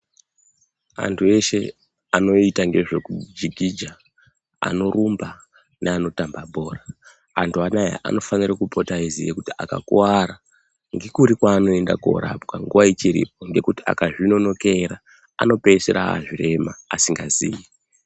Antu eshe anoita zvekujikija ,anorumba neano tamba bhora, antu anawa ,anofana kupota eiziva kuti akakuwara ngekuri kwaanoenda kundorapwa nguwa ichiripo . Ngekuti ,akazvinonokera anopedzisira ava zvirema asingazii.